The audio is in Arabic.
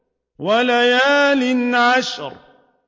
وَلَيَالٍ عَشْرٍ